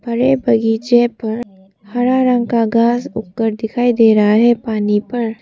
हरे बगीचे पर हरा रंग का घास उग कर दिखाई दे रहा है पानी पर।